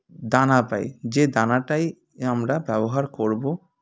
দানা পাই যে দানাটাই আমরা ব্যবহার করবো